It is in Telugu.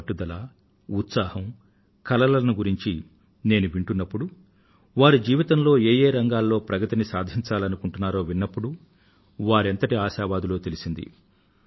వారి పట్టుదలను ఉత్సాహాన్ని కలలను గురించి నేను వింటున్నప్పుడు వారు జీవితంలో ఏ యే రంగాలలో ప్రగతిని సాధించాలనుకుంటున్నారో విన్నప్పుడు వారు ఎంతటి ఆశావాదులో తెలిసింది